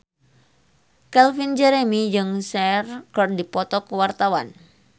Calvin Jeremy jeung Cher keur dipoto ku wartawan